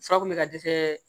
Fura kun bɛ ka dɛsɛ